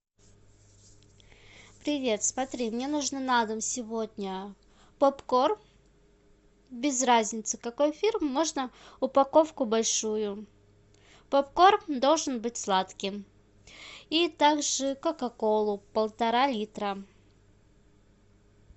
привет смотри мне нужно на дом сегодня попкорн без разницы какой фирмы можно упаковку большую попкорн должен быть сладким и также кока колу полтора литра